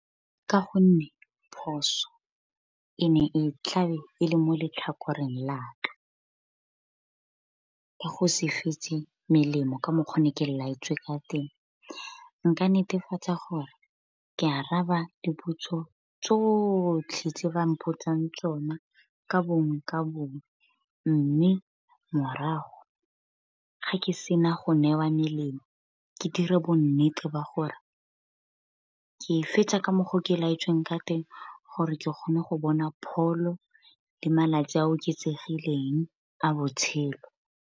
Ka go nne phoso e ne e tlabe e le mo letlhakoreng la ka, go se fetse melemo ka mokgwa ne ke laetswe ka teng. Nka netefatsa gore ke araba dipotso tsotlhe, tse ba mpotsang tsona ka bongwe ka bongwe. Mme morago ga ke sena go ne wa melemo ke dira bo nnete ba gore ke e fetsa ka mokgwa o ke laetsweng ka teng gore ke kgone go bona pholo, le malatsi a oketsegileng a botshelo.